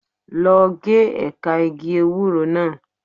Lọ gé ẹ̀ka igi ewúro náà.